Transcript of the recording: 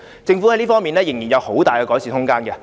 政府在這方面仍然有很大的改善空間。